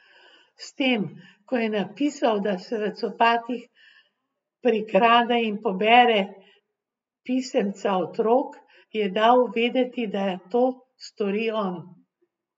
S tem ko je napisal, da se v copatih prikrade in pobere pisemca otrok, je dal vedeti, da to stori on.